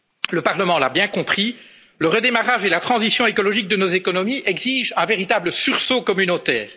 le rembourser. Le Parlement l'a bien compris le redémarrage et la transition écologique de nos économies exigent un véritable sursaut